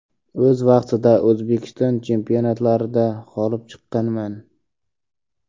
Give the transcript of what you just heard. O‘z vaqtida O‘zbekiston chempionatlarida g‘olib chiqqanman.